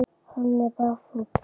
Hann er bara fúll.